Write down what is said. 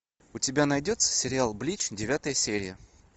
у тебя найдется сериал блич девятая серия